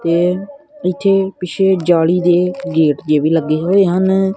ਤੇ ਨਿੱਚੇ ਬਿਛੇ ਜਾਲੀ ਦੇ ਗੇਟ ਦੇ ਵੀ ਲੱਗੇ ਹੋਏ ਹਨ।